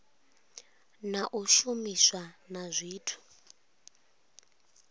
na u shumiswa na zwithu